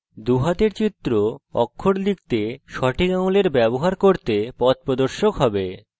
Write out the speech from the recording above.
দুই হাতের চিত্র আপনার অক্ষর লিখতে সঠিক আঙুলের ব্যবহার করতে পথপ্রদর্শক হবে